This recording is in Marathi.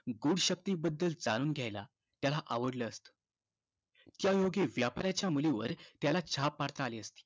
गूढ शक्तींबद्दल जाणून घ्यायला त्याला आवडलं असतं. त्यायोगे व्यापाऱ्याच्या मुलीवर त्याला छाप पाडता आली असती.